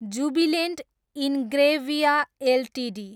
Jubilant Ingrevia Ltd